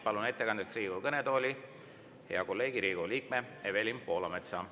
Palun ettekandeks Riigikogu kõnetooli hea kolleegi, Riigikogu liikme Evelin Poolametsa.